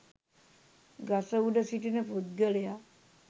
ගස උඩ සිටින පුද්ගලයා